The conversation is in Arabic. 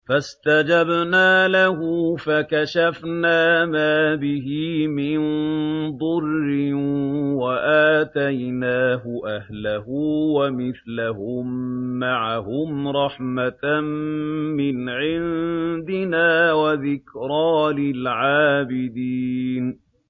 فَاسْتَجَبْنَا لَهُ فَكَشَفْنَا مَا بِهِ مِن ضُرٍّ ۖ وَآتَيْنَاهُ أَهْلَهُ وَمِثْلَهُم مَّعَهُمْ رَحْمَةً مِّنْ عِندِنَا وَذِكْرَىٰ لِلْعَابِدِينَ